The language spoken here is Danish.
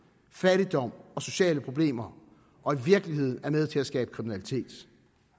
fattigdom og sociale problemer og i virkeligheden er med til at skabe kriminalitet